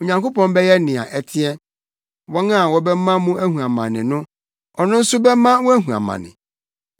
Onyankopɔn bɛyɛ nea ɛteɛ. Wɔn a wɔbɛma mo ahu amane no, ɔno nso bɛma wɔahu amane,